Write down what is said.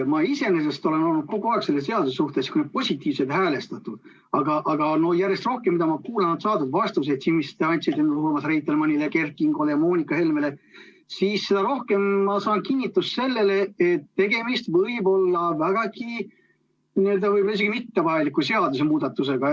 Ma iseenesest olen olnud kogu aeg selle seaduseelnõu suhtes positiivselt häälestatud, aga mida rohkem ma saadud vastuseid kuulan – mõtlen neid, mis te andsite Urmas Reitelmannile, Kert Kingole ja Moonika Helmele –, seda rohkem ma saan kinnitust, et tegemist võib olla üldse mitte vajaliku seadusemuudatusega.